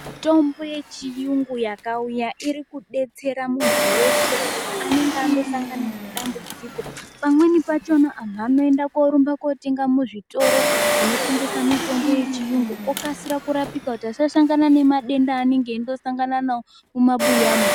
Mitombo yechiyungu yakauya iri kudetsera muntu weshe anenge angosangana nedambudziko. Pamweni pachona antu anorumba kootenga muzvitoro zvinotengesa mitombo yechiyungu okasira kurapika kuti asasangana nemadenda aanenge eide kusangana nawo mumabuyamo.